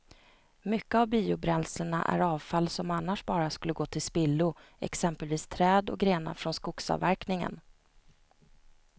Mycket av biobränslena är avfall som annars bara skulle gå till spillo, exempelvis träd och grenar från skogsavverkningen.